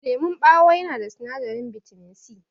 Lemon ɓawo yana da sinadarin bitamin C.